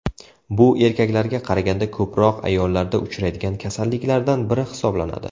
Bu erkaklarga qaraganda ko‘proq ayollarda uchraydigan kasalliklardan biri hisoblanadi.